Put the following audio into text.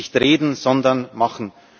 nicht reden, sondern machen!